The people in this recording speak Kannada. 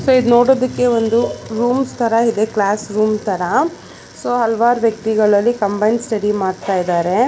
ಮತ್ತೆ ಇದು ನೋಡೋದಿಕ್ಕೆ ಒಂದು ರೂಮ್ಸ್ ತರ ಇದೆ ಕ್ಲಾಸ್ ರೂಮ್ ತರ ಸೋ ಹಲವಾರು ವ್ಯಕ್ತಿಗಳು ಅಲ್ಲಿ ಕಂಬೈನ್ಡ್ ಸ್ಟಡಿ ಮಾಡ್ತಾ ಇದ್ದಾರೆ.